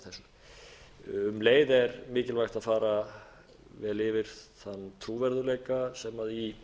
þessu um leið er mikilvægt að fara vel yfir þann trúverðugleika sem í